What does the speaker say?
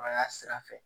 A y'a sira fɛ